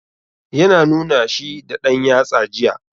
Ya na nuna shi da ɗan yatsa jiya.